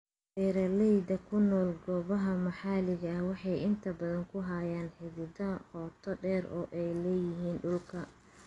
Beeralayda ku nool goobaha maxaliga ahi waxay inta badan ku hayaan xidhiidh qoto dheer oo ay la leeyihiin dhulka.